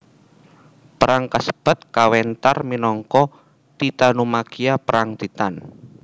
Perang kasebat kawéntar minangka Titanomakhia Perang Titan